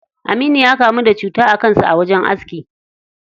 Aminu ya kamu da cuta a kan sa a wajen aski.